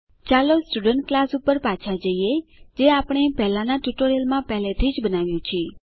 ચાલો student class પર પાછા જઈએ જે આપણે પહેલાનાં ટ્યુટોરીયલમાં પહેલાથી જ બનાવ્યું છે